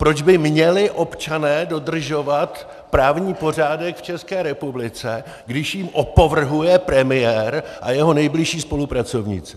Proč by měli občané dodržovat právní pořádek v České republice, když jím opovrhuje premiér a jeho nejbližší spolupracovníci?